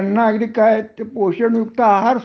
पण त्यांना अगदी काय आहे पोषण युक्त आहार